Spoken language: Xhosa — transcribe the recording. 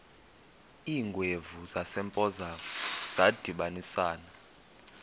iingwevu zasempoza zadibanisana